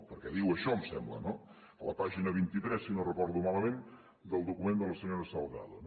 perquè diu això em sembla no a la pàgina vint tres si no ho recordo malament del document de la senyora salgado